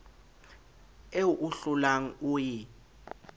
eo o hlolang o e